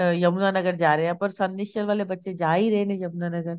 ਅਹ ਯਮੁਨਾ ਨਗਰ ਜਾ ਰਹੇ ਹਾਂ ਪਰ ਵਾਲੇ ਬੱਚੇ ਜਾ ਹੀ ਰਹੇ ਨੇ ਯਮੁਨਾ ਨਗਰ